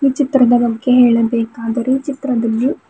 ಚಿತ್ರದ ಬಗ್ಗೆ ಹೇಳಬೇಕಾದರೆ ಈ ಚಿತ್ರದಲ್ಲಿ--